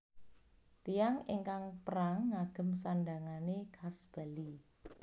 Tiyang ingkang perang ngagem sandhangané khas Bali